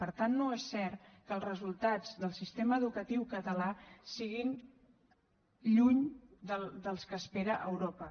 per tant no és cert que els resultats del sistema educatiu català siguin lluny dels que espera europa